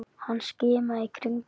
Hann skimaði í kringum sig.